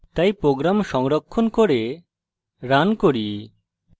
তাই program সংরক্ষণ করে রান করি